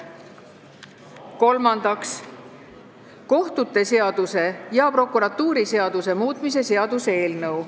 Kolmandaks, kohtute seaduse ja prokuratuuriseaduse muutmise seaduse eelnõu.